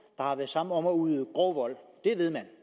har været sammen om at udøve grov vold det ved man